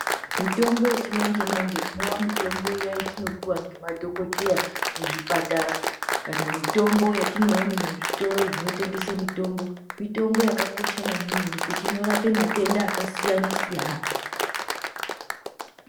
Mitombo yechimanje manje, inowa mitombo iya yatinopuwa ngemadhokoteya muzvipatara kana mitombo yetinoone muzvitoro zvinotengese mitombo, mitombo yakakosha maningi ngekuti inorape matenda akasiyana siyana.